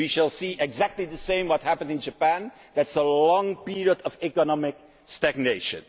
We shall see exactly the same as what happened in Japan that is a long period of economic stagnation.